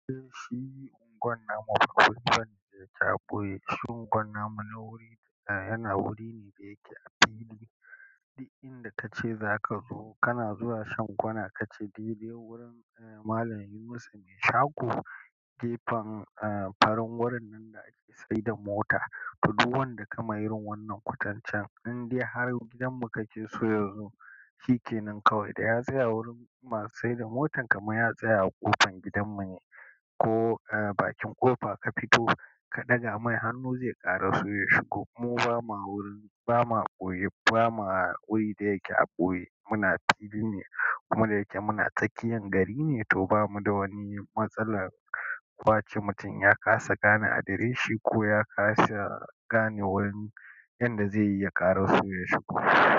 Eh, shi unguwar namu babu wani da yake a ɓoye. Shi ungwan namu na wuri da yana wuri ne da yake a fili. Inda kace za ka zo, kana zuwa shan kwana ka ce, daidai wurin Malam Yunusa mai shago. Gefen, eh farin wurin nan da ake sayar da mota. To duk wanda ka ma irin wannan kotancen, in dai har gidanmu kake so ya zo, shi ke nan kawai. Da ya tsaya a wurin masu sayar da mota kamar ya tsaya a ƙofan gidanmu ne. Ko bakin ƙofa ka fito ka ɗaga mai hannu zai ƙara so ya shigo. Mu ba ma wurin, ba ma a ɓoye, ba ma wuri da yake a ɓoye. Muna fili ne. Kuma da yake muna tsakiyar gari ne, to ba mu da wani matsala. Kwace mutum ya ƙasa gane adireshi ko ya ƙasa gane wurin inda zai yi ya ƙara so ya shigo.